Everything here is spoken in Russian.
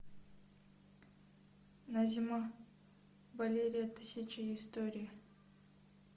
назима валерия тысячи историй